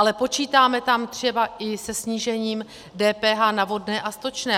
Ale počítáme tam třeba i se snížením DPH na vodné a stočné.